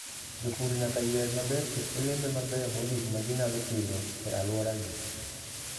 Jopur nyaka yier maber kit olembe mabeyo mogik ma ginyalo pidho e alworagi.